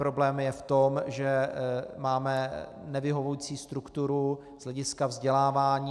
Problém je v tom, že máme nevyhovující strukturu z hlediska vzdělávání.